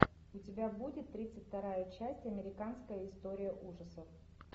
у тебя будет тридцать вторая часть американская история ужасов